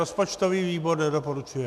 Rozpočtový výbor nedoporučuje.